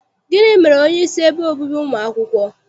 Gịnị mere onyeisi ebe obibi ụmụ akwụkwọ?